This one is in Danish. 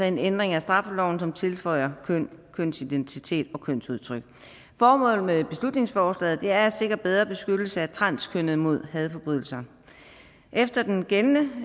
en ændring af straffeloven som tilføjer køn kønsidentitet og kønsudtryk formålet med beslutningsforslaget er at sikre bedre beskyttelse af transkønnede mod hadforbrydelser efter den gældende